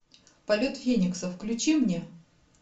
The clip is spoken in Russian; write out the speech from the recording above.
полет феникса включи мне